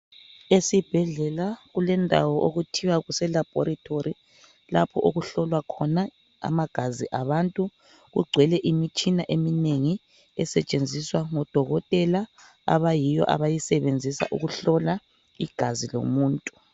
Esibhedlela kulendawo okuthiwa kuselabhorithori lapho okuhlolwa khona amagazi abantu kugcwele imitshina eminengi esetshenziswa ngudokotela abayiwo abayisebenzisa ukuhlola igazi lomuntu.